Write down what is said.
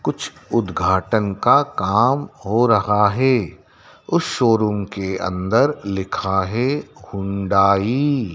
कुछ उद्घाटन का काम हो रहा है उस शोरुम के अंदर लिखा है होंडाई ।